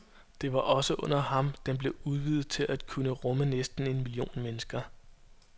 Det var også under ham, den blev udvidet til at kunne rumme næsten en million mennesker.